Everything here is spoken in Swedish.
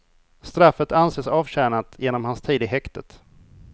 Straffet anses avtjänat genom hans tid i häktet.